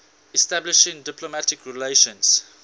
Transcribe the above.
establishing diplomatic relations